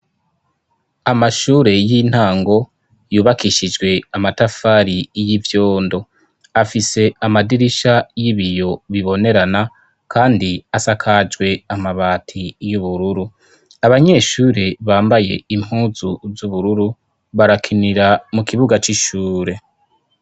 Amashure y'intango yubakishijwe amatafari y'ivyondo ,afise amadirisha y'ibiyo bibonerana kandi asakajwe amabati y'ubururu ,abanyeshure bambaye impuzu z'ubururu barakinira mu kibuga c'ishure.